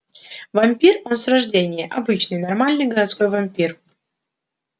вампир он с рождения обычный нормальный городской вампир